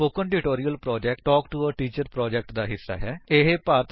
spoken tutorial project talk to a teacher project ਦਾ ਹਿੱਸਾ ਹੈ